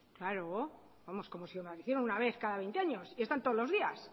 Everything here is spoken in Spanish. claro vamos como si lo hiciera una vez cada veinte años y están todos los días